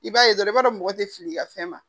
I b'a ye dɔrɔn i b'a dɔn mɔgɔ tɛ fili i ka fɛn ma